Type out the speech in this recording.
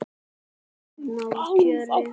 Að ná kjöri.